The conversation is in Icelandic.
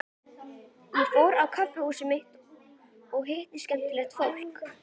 Ég fór á kaffihúsið mitt og hitti skemmtilegt fólk.